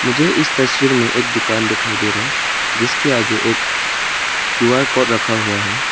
मुझे इस तस्वीर में एक दुकान दिखाई दे रहा है जिसके आगे एक क्यू_आर कोड रखा हुआ है।